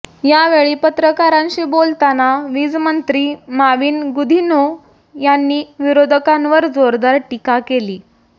यावेळी पत्रकारांशी बोलताना वीजमंत्री माविन गुदिन्हो यांनी विरोधकांवर जोरदार टीका केली